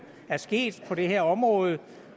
sket på det her område